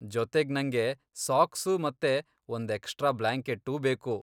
ಜೊತೆಗ್ ನಂಗೆ ಸಾಕ್ಸು ಮತ್ತೆ ಒಂದ್ ಎಕ್ಸ್ಟ್ರಾ ಬ್ಲಾಂಕೆಟ್ಟೂ ಬೇಕು.